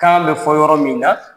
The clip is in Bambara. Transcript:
Kan bɛ fɔ yɔrɔ min na.